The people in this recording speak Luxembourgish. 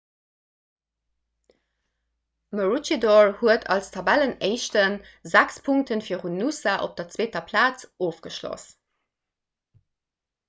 maroochydore huet als tabellenéischten sechs punkte virun noosa op der zweeter plaz ofgeschloss